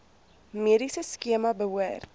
mediese skema behoort